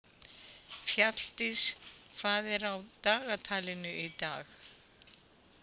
Fjalldís, hvað er á dagatalinu í dag?